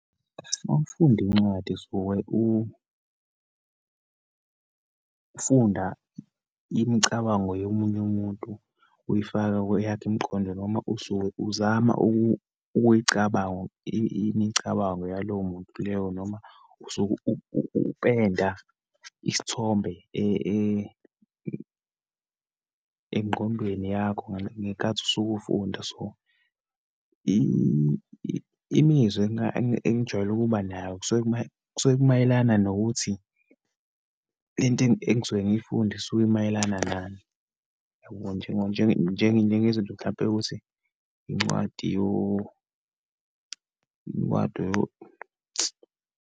Uma ufundi incwadi usuke ufunda imicabango yomunye umuntu, uyifaka kweyakho imiqondo, noma usuke uzama ukuyicabango imicabango yalowo muntu leyo, noma usuke upenda isithombe engqondweni yakho ngeyikhathi usuke ufunda. So, imizwa engijwayele ukuba nayo kusuke kusuke kumayelana nokuthi lento engisuke ngiyifunda isuke imayelana nani. Yabo, njengezinto, mhlampe yokuthi incwadi incwadi .